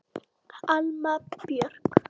Alma Björk.